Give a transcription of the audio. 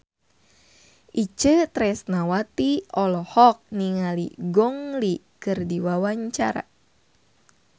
Itje Tresnawati olohok ningali Gong Li keur diwawancara